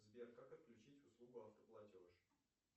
сбер как отключить услугу автоплатеж